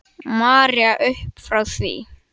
María uppfrá því.